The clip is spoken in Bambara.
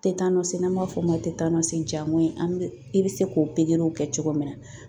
Tetanɔsi n'an b'a fɔ o ma tetanɔsi, ja ngɔɲin i bɛ se k'o pikiriw kɛ cogo min na.